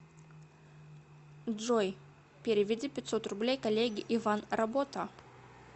джой переведи пятьсот рублей коллеге иван работа